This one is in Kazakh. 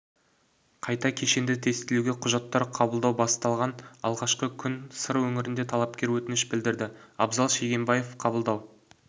қайта кешенді тестілеуге құжаттар қабылдау басталған алғашқы күні сыр өңірінде талапкер өтініш білдірді абзал шегенбаев қабылдау